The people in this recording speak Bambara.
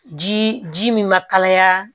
Ji ji min ma kalaya